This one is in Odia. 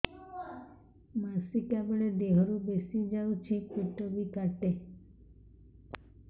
ମାସିକା ବେଳେ ଦିହରୁ ବେଶି ଯାଉଛି ପେଟ ବି କାଟେ